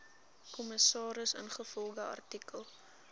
kommissaris ingevolge artikel